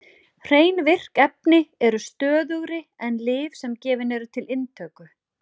Hrein virk efni eru stöðugri en lyf sem gefin eru til inntöku.